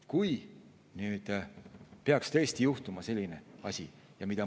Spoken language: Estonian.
Kas nüüd võiks tõesti juhtuda selline asi?